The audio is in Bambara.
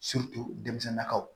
denmisɛnninnakaw